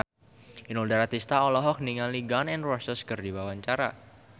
Inul Daratista olohok ningali Gun N Roses keur diwawancara